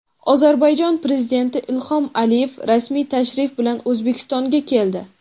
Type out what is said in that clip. Ozarbayjon Prezidenti Ilhom Aliyev rasmiy tashrif bilan O‘zbekistonga keldi.